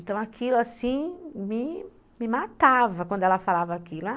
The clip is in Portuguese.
Então, aquilo assim me me matava quando ela falava aquilo, a